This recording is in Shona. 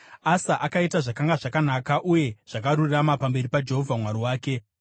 Asa akaita zvakanga zvakanaka uye zvakarurama pamberi paJehovha Mwari wake.